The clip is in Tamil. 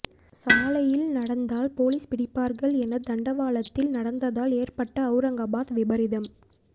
சாலையில் நடந்தால் போலீஸ் பிடிப்பார்கள் என தண்டவாளத்தில் நடந்ததால் ஏற்பட்ட அவுரங்காபாத் விபரீதம்